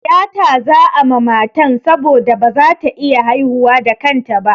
Tiyata za'a ma matan saboda ba za ta iya haihuwa da kanta ba.